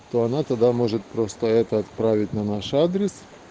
то она тогда может просто это отправить на наш адрес